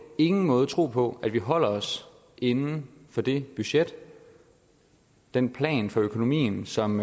ingen måde tro på at vi holder os inden for det budget den plan for økonomien som